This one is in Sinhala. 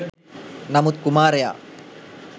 නමුත් කුමාරයා